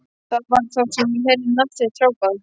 Það var þá sem ég heyrði nafn mitt hrópað.